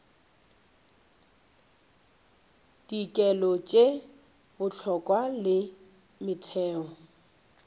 dikelo tše bohlokwa le metheo